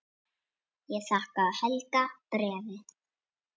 Ég þakka Helga bréfið.